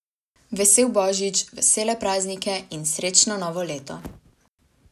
Vesel božič, vesele praznike in srečno novo leto!